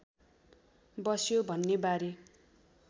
बस्यो भन्नेबारे